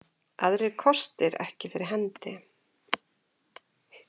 Aðrir kostir ekki fyrir hendi.